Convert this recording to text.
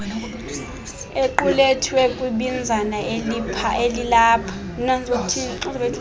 equlethwe kwibinzana elilapha